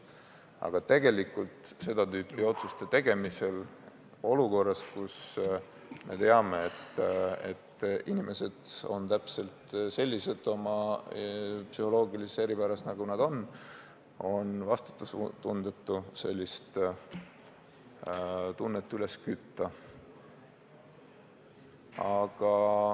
Aga tegelikult on seda tüüpi otsuste tegemisel olukorras, kus me teame, et inimesed on psühholoogilisest eripärast tulenevalt täpselt sellised, nagu nad on, vastutustundetu sellist tunnet üles kütta.